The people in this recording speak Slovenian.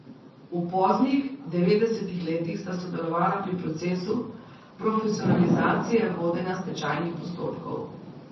V poznih devetdesetih letih sta sodelovala pri procesu profesionalizacije vodenja stečajnih postopkov.